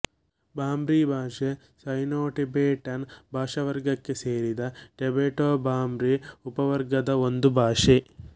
ಬರ್ಮೀ ಭಾಷೆ ಸೈನೋಟೆಬೆಟನ್ ಭಾಷಾವರ್ಗಕ್ಕೆ ಸೇರಿದ ಟೆಬೆಟೊಬರ್ಮೀ ಉಪವರ್ಗದ ಒಂದು ಭಾಷೆ